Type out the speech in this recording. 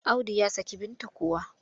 Audu ya saki Binta kuwa?